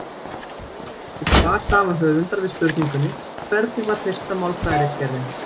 Skoðið einnig svar sama höfundar við spurningunni Hvernig var fyrsta málfræðiritgerðin?